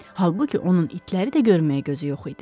Halbuki onun itləri də görməyə gözü yox idi.